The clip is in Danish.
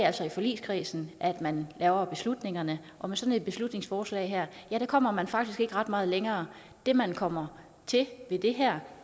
altså i forligskredsen at man laver beslutningerne og med sådan et beslutningsforslag her kommer man faktisk ikke ret meget længere det man kommer til med det her